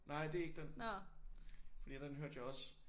Nej det er ikke den. Fordi den hørte jeg også